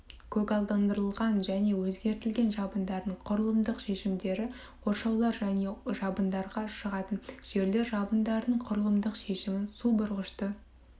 көгалдандырылған және өзгертілген жабындардың құрылымдық шешімдері қоршаулар және жабындарға шығатын жерлер жабындардың құрылымдық шешімін су бұрғышты